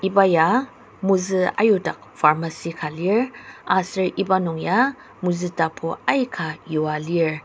iba ya mozü ayudak pharmacy ka lir aser iba nung ya mozü tapu aika yua lir.